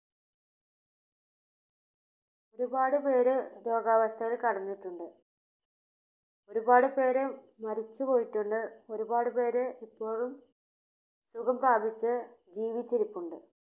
ഒരുപാട് പേര് രോഗാവസ്ഥയിൽ കിടന്നിട്ടുണ്ട് ഒരുപാട് പേര് മരിച്ചു പോയിട്ടുണ്ട് ഒരുപാട് പേര് ഇപ്പോഴും സുഖം പ്രാപിച്ചു ജീവിച്ചിരിപ്പുണ്ട്.